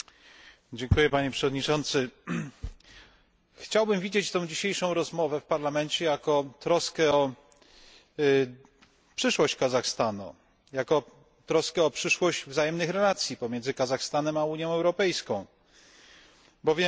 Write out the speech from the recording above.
Chciałbym widzieć tę dzisiejszą rozmowę w Parlamencie jako troskę o przyszłość Kazachstanu, jako troskę o przyszłość wzajemnych relacji pomiędzy Kazachstanem a Unią Europejską, bowiem znamy rolę, jaką pełni w tym regionie